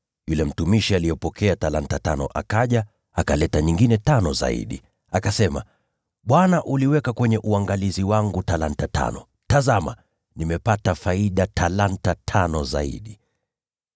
Yule mtumishi aliyepokea talanta tano akaja, akaleta nyingine tano zaidi. Akasema, ‘Bwana uliweka kwenye uangalizi wangu talanta tano. Tazama, nimepata faida ya talanta tano zaidi.’